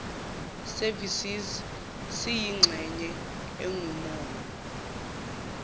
services siyingxenye engumongo